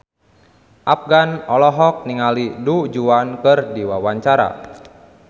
Afgan olohok ningali Du Juan keur diwawancara